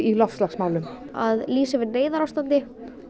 loftslagsmálum að lýsa yfir neyðarástandi